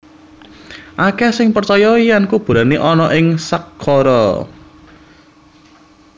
Akèh sing percaya yèn kuburané ana ing Saqqara